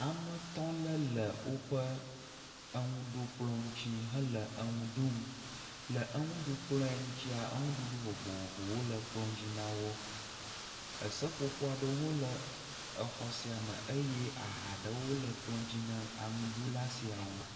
Ame etɔ̃ aɖe le woƒe eŋuɖukplɔ ŋutsi hele eŋu ɖum. Le eŋuɖukplɔa dzia enuɖuɖu vovovowo le kplɔ dzi na wo. Eseƒoƒo aɖewo hã le exɔ sia me eye aha aɖewo le ekplɔ di na enuɖula siawo.